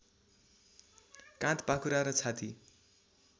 काँध पाखुरा र छाती